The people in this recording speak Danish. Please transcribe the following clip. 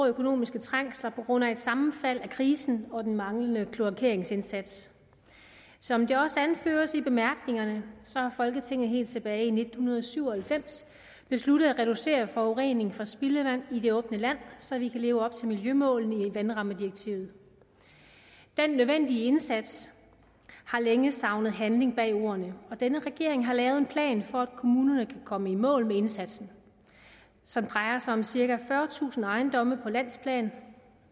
økonomiske trængsler på grund af et sammenfald af krisen og den manglende kloakeringsindsats som det også anføres i bemærkningerne har folketinget helt tilbage i nitten syv og halvfems besluttet at reducere forureningen fra spildevand i det åbne land så vi kan leve op til miljømålene i vandrammedirektivet den nødvendige indsats har længe savnet handling bag ordene og denne regering har lavet en plan for at kommunerne kan komme i mål med indsatsen som drejer sig om cirka fyrretusind ejendomme på landsplan